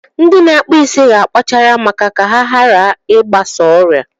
Ndị na-akpụ isi ga akpachara ma ka ha hara I gbasa ọrịa.